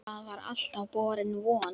Það var alltaf borin von